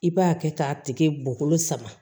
I b'a kɛ k'a tigi bɔkolo sama